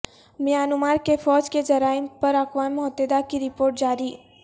Myanmar کی فوج کے جرائم پر اقوام متحدہ کی رپورٹ جاری